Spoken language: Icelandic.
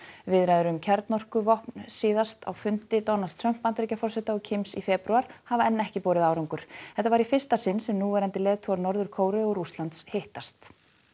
viðræður um kjarnorkuvopn síðast á fundi Donalds Trumps Bandaríkjaforseta og Kims í febrúar hafa enn ekki borið árangur þetta var í fyrsta sinn sem núverandi leiðtogar Norður Kóreu og Rússlands hittast